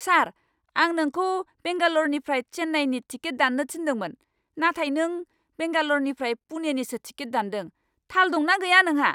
सार! आं नोंखौ बेंगाल'रनिफ्राय चेन्नाईनि टिकेट दान्नो थिन्दोंमोन, नाथाय नों बेंगाल'रनिफ्राय पुणेनिसो टिकेट दानदों। थाल दं ना गैया नोंहा?